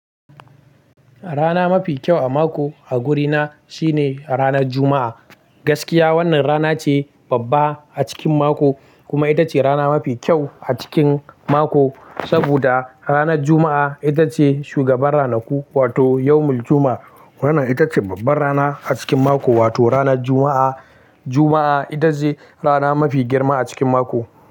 Rana mafi kyau a mako a gurina shine ranar Juma'a. Gaskiya wannan rana ce babba a cikin mako kuma ita ce rana mafi kyau a cikin mako. Saboda ranar Juma'a ita ce shugabar ranaku wato Yawmul Juma'a. Wannan ita ce babbar rana a cikin mako, wato ranar Juma'a. Juma'a ita ce rana mafi girma a cikin mako.